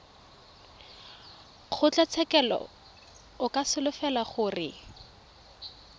kgotlatshekelo o ka solofela gore